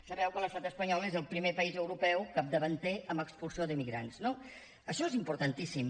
sabeu que l’estat espanyol és el primer país europeu capdavanter en expulsió d’immigrants no això és importantíssim